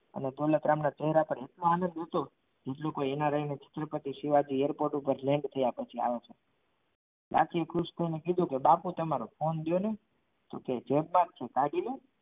અને દોલતરામને પહેર્યા પર બીજું કોઈ છત્રપતિ શિવાજી airport પર land થયા પછી આવે છે લાખીએ ખુશ થઈને કીધું કે બાપુ તમારો phone આપો ને કે કીધું જેમમાંથી કાઢી લે.